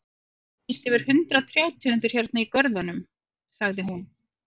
Það eru víst yfir hundrað trjátegundir hérna í görðunum, sagði hún.